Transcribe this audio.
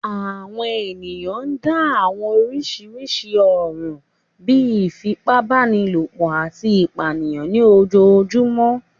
Àwọn èèyàn ń dá àwọn oríṣiríṣi ọ̀ràn bíi ìfipábanílòpọ̀ àti ìpànìyàn ní ojojúmọ́